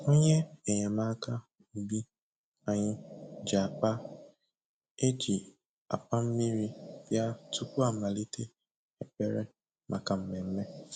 Onye enyemaka ubi anyị ji akpa e ji agba mmiri bịa tupu amalite ekpere maka mmemme